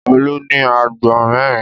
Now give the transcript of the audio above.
Olú ní àgbò mẹ́rin.